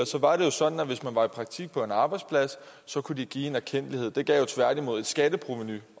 var jo sådan at hvis man var i praktik på en arbejdsplads så kunne de give en erkendtlighed det gav tværtimod et skatteprovenu